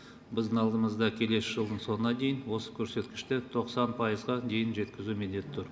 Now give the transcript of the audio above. біздің алдымызда келесі жылдың соңына дейін осы көрсеткішті тоқсан пайызға дейін жеткізу міндеті тұр